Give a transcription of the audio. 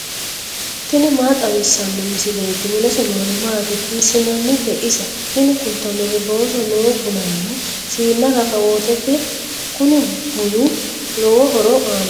tini maa xawissanno misileeti ? mulese noori maati ? hiissinannite ise ? tini kultannori booso noo bunanna siinna rakabootete. kuni bunu lowo horo aannoho.